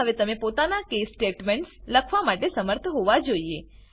મા હવે તમે પોતાના case સ્ટેટમેન્ટ્સ લખવા માટે શમર્થ હોવા જોઈએ